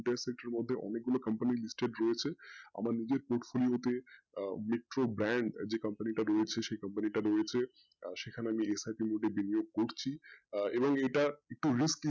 এর মধ্যে অনেক গুলো company listed রয়েছে আমার নিজের portfolio তে আহ metro bank যে company টা রয়েছে সেই company টা রয়েছে আর সেখানে আমি করছি আহ এবং এটা একটু risky